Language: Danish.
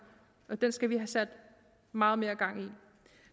og den skal vi have sat meget mere gang i